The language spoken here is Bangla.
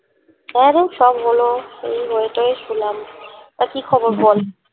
হ্যাঁরে সব হলো এই হয়ে টয়ে শুলাম তা কি খবর বল